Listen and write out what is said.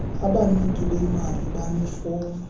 abaniki bemali banefom